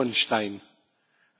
Panie Przewodniczący!